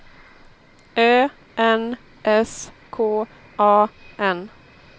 Ö N S K A N